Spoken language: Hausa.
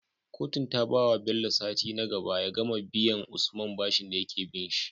Kotun ta bawa Bello sati nagaba ya gama biyan usman bashin dayake binshi